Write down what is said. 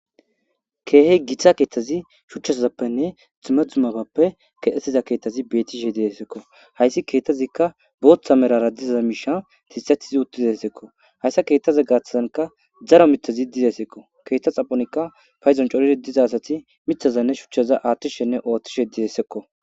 Keeh Gita kethaz shuchazappenne dumma dummabappe kexetiza kethaz betishe desko,hays keethazika bootha malara diza mishan kexeti utidesko, haysa kethaza gathanka daro mithazi desko,ketha xap